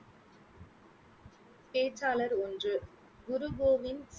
பேச்சாளர் ஒன்று குரு கோவிந்